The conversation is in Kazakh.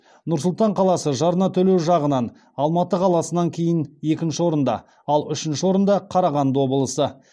нұр сұлтан қаласы жарна төлеу жағынан алматы қаласынан кейін екінші орында ал үшінші орында қарағанды облысы